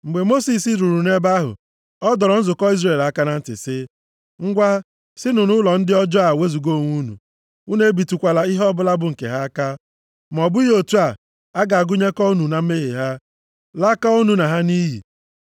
Mgbe Mosis ruru nʼebe ahụ, ọ dọrọ nzukọ Izrel aka na ntị sị, “Ngwa, sinụ nʼụlọ ndị ọjọọ a wezuga onwe unu. Unu ebitụkwala ihe ọbụla bụ nke ha aka. Ma ọ bụghị otu a, a ga-agụnyekọ unu na mmehie ha, lakọọ unu na ha nʼiyi.”